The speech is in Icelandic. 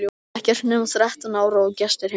Ekki nema þrettán ára og gestir heima!